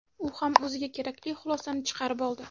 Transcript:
U ham o‘ziga kerakli xulosani chiqarib oldi.